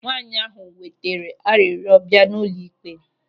Nwaanyị ahụ wetere arịrịọ bịa n'ụlọ ịkpe.